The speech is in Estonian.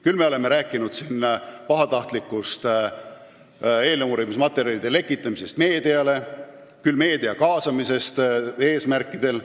Küll me oleme rääkinud pahatahtlikust eeluurimismaterjalide lekitamisest meediale, küll meedia kaasamise eesmärkidest.